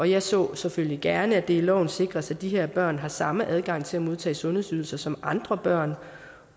jeg så selvfølgelig gerne at det i loven sikres at de her børn har samme adgang til at modtage sundhedsydelser som andre børn